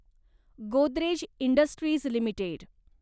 Godrej industries limited